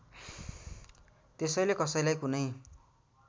त्यसैले कसैलाई कुनै